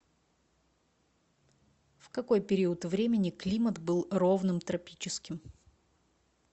в какой период времени климат был ровным тропическим